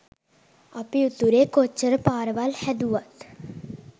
අපි උතුරේ කොච්චර පාරවල් හැදුවත්